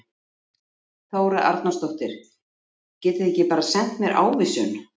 Þóra Arnórsdóttir: Getið þið ekki bara sent mér ávísun?